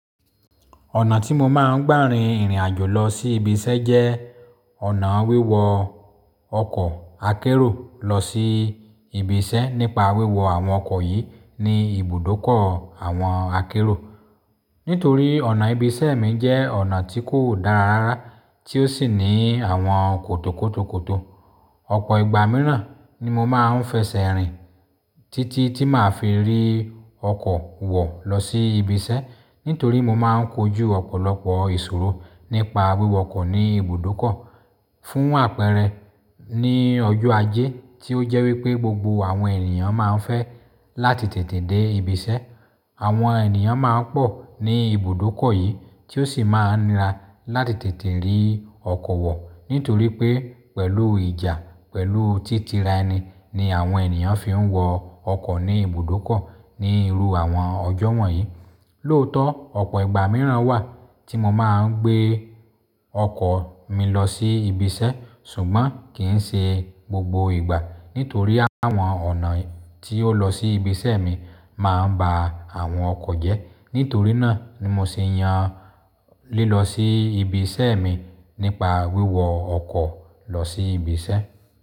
Ọ̀nà tí mo máa ń gbà rin ìrìn àjò lọ sí ibiṣẹ́ jẹ́ ọ̀nà wíwọ ọkọ̀ akérò lọ sí ibiṣẹ́. Nípa wíwọ àwọn ọkọ̀ yìí ní ibùdókọ̀ àwọn akérò. Nítorí ọ̀nà ibiṣẹ́ mi jẹ́ ọ̀nà tí kò dára rárá tí ó sì ní àwọn kòtòkòtòkòtò. Ọ̀pọ̀ ìgbà mìíràn ni mo máa ń fẹsẹ̀ rìn títí tí màá fi rí ọkọ̀ wọ̀ lọ sí ibiṣẹ́. Nítorí mo máa ń kojú ọ̀pọ̀lọpọ̀ ìṣòro nípa wíwọ ọkọ̀ ní ibùdókọ̀. Fún àpẹẹrẹ ní ọjọ́ ajé tí ó jẹ́ wí pé gbogbo àwọn ènìyàn máa ń fẹ́ láti tètè dé ibiṣẹ́. Àwọn ènìyàn máa ń pọ̀ ní ibùdókọ̀ yìí tí ó sì máa ń ra láti tètè rí ọkọ̀ wọ̀. Nítorí pé pẹ̀lú ìjà, pẹ̀lú títíraeni ni àwọn ènìyàn fi ń wọ ọkọ̀ ní ibùdókọ̀ ní irú àwọn ọjọ́ wọ̀nyí. Lóòótọ́ ọ̀pọ̀ ìgbà mìíràn wà tí mo máa ń gbé ọkọ̀ mi lọ sí ibiṣẹ́ ṣùgbọ́n kì í ṣe gbogbo ìgbà. Nítorí àwọn ọ̀nà tí ó lọ sí ibiṣẹ́ mi máa ń ba àwọn ọkọ̀ jẹ́. Nítorí náà ni mo sì yàn lílọ sí ibiṣẹ́ mi nípa wíwọ ọkọ̀ lọ sí ibiṣẹ́.